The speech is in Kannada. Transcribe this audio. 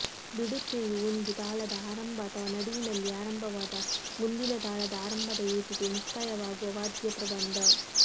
ಬಿಡುತೆಯು ಒಂದು ತಾಳದ ಆರಂಭ ಅಥವಾ ನಡುವಿನಲ್ಲಿ ಆರಂಭವಾದ ಮುಂದಿನ ತಾಳದ ಆರಂಭದ ಏಟಿಗೆ ಮುಕ್ತಾಯವಾಗುವ ವಾದ್ಯ ಪ್ರಬಂಧ